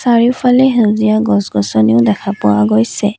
চাৰিওফালে সেউজীয়া গছ গছনিও দেখা পোৱা গৈছে।